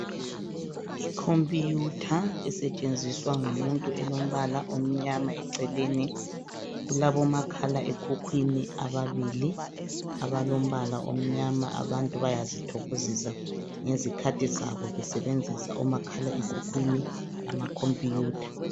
Ikhompiyutha esetshenziswa ngumuntu elompala omnyama eceleni kulabomakhala ekhukhwini ababili abalombala omnyama abantu bayazithokozisa ngezikhathi zabo besebenzisa omakhala ekhukwini lamakhompiyutha.